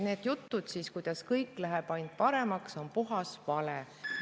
Need jutud, kuidas kõik läheb ainult paremaks, on puhas vale.